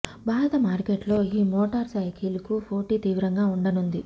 భారత మార్కెట్లో ఈ మోటార్ సైకిల్ కు పోటీ తీవ్రంగా ఉండనుంది